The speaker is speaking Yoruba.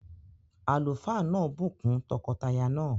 Àlùfáà náà bù kún tọkọtaya náà